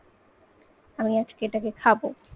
আমি আজকে এটাকে খাব।